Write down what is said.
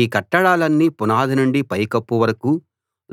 ఈ కట్టడాలన్నీ పునాది నుండి పైకప్పు వరకూ